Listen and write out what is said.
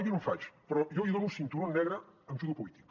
jo no en faig però jo li dono cinturó negre en judo polític